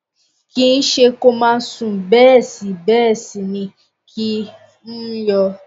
kìí ṣẹ kó máa sùn bẹ́ẹ̀ sì bẹ́ẹ̀ sì ni kìí um yọ